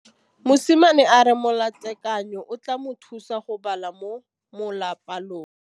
Mosimane a re molatekanyô o tla mo thusa go bala mo molapalong.